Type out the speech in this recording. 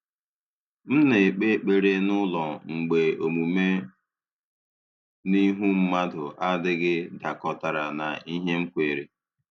M na-ekpe ekpere n’ụlọ mgbe omume n’ihu mmadụ adịghị dakọtara na ihe m kweere.